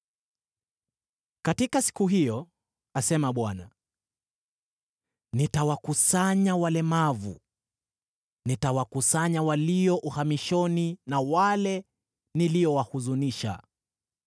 “Katika siku hiyo,” asema Bwana , “nitawakusanya walemavu; nitawakusanya walio uhamishoni na wale niliowahuzunisha.